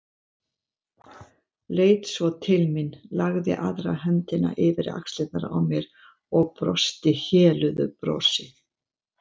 Leit svo til mín, lagði aðra höndina yfir axlirnar á mér og brosti héluðu brosi.